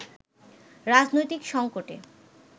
রাজনৈতিক সঙ্কটে